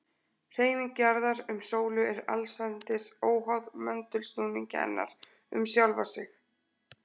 Hreyfing jarðar um sólu er allsendis óháð möndulsnúningi hennar um sjálfa sig.